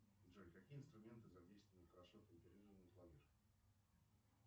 джой какие инструменты задействованы